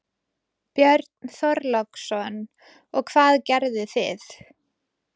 Björn Þorláksson: Og hvað gerðu þið?